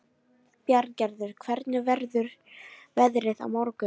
Bjarngerður, hvernig verður veðrið á morgun?